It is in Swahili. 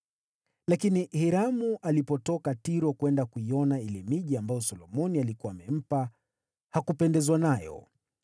Lakini Hiramu alipotoka Tiro kwenda kuiona ile miji ambayo Solomoni alikuwa amempa, hakupendezwa nayo.